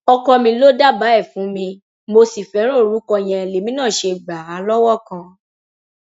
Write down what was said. ọkọ mi ló dábàá ẹ fún mi mo sì fẹràn orúkọ yẹn lèmi náà ṣe gbà á lọwọ kan